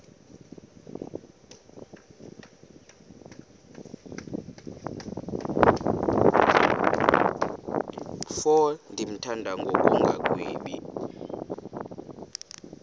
mfo ndimthanda ngokungagwebi